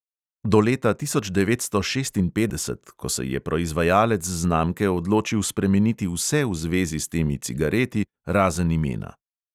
Do leta tisoč devetsto šestinpetdeset, ko se je proizvajalec znamke odločil spremeniti vse v zvezi s temi cigareti razen imena.